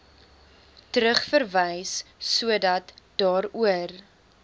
terugverwys sodat daaroor